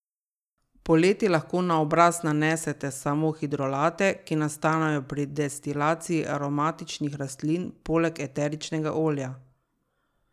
Poleti lahko na obraz nanesete samo hidrolate, ki nastanejo pri destilaciji aromatičnih rastlin poleg eteričnega olja.